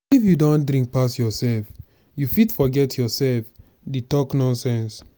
if you don drink pass yourself you fit forget yourself dey talk nonsense.